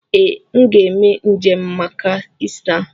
Ee, m ga eme njem maka Ista.